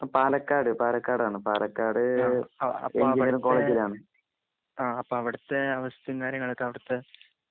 അവിടുത്തെ അപ്പം അവിടുത്തെ അവസ്ഥയും കാര്യങ്ങളും ഒക്കെ അവിടുത്തെ